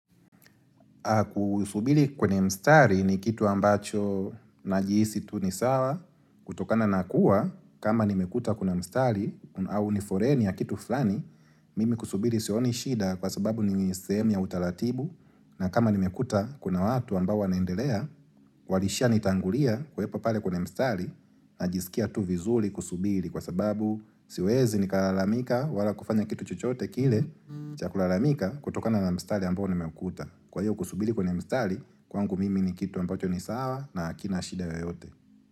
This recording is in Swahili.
Kusubiri kwenye mstari ni kitu ambacho najihisi tu ni sawa, kutokana na kuwa kama nimekuta kuna mstari au ni foleni ya kitu fulani, mimi kusubiri sioni shida kwa sababu ni sehemu ya utaratibu na kama nimekuta kuna watu ambao wanaendelea, walishanitangulia kuwepo pale kwenye mstari, najisikia tu vizuri kusubiri kwa sababu siwezi nikalalamika wala kufanya kitu chochote kile cha kulalamika kutokana na mstari ambao nimekuta. Kwa hiyo kusubiri kwenye mstari kwangu mimi ni kitu ambacho ni sawa na hakina shida yoyote.